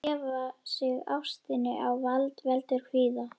Að gefa sig ástinni á vald veldur kvíða.